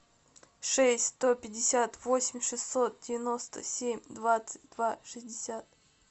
шесть сто пятьдесят восемь шестьсот девяносто семь двадцать два шестьдесят